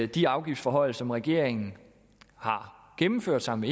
de afgiftsforhøjelser som regeringen har gennemført sammen